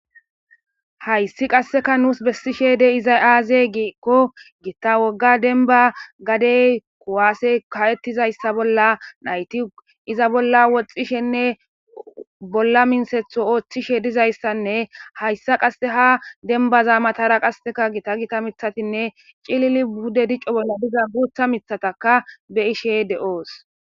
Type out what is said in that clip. hayssi qasseka nuus bessishe de iza aaze giikko gitta wogga denba gadey kuwaase kawettizayssa bolla nayti iza bolla woxxishenne bolla mintsetho ooththishe dizayssanne hayssa qasse ha denba zaamatara qasseka gita gita mithatinne cilili budde dicco bolla diza guutha mithataka be ishey de7oos